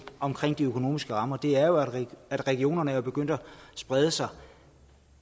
omkring de økonomiske rammer er jo at regionerne er begyndt at sprede sig